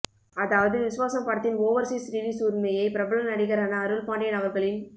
அதாவது விசுவாசம் படத்தின் overseas release உரிமையை பிரபல நடிகரான அருள் பாண்டியன் அவர்களின்